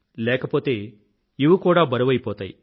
లేకపోతే ఇవి కూడా బరువైపోతాయి